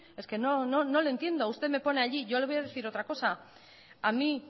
es que no le entiendo usted me pone allí yo le voy a decir otra cosa a mí